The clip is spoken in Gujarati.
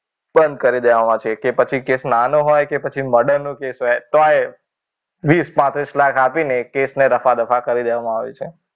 બંધ કરી દેવામાં આવે છે કે પછી કેસ નાનો હોય કે પછી મર્ડર નો કેસ હોય તો એને ત્રીસ લાખ પાંત્રીસ લાખ આપીને એને રફા દફા કરી દેવામાં આવે છે.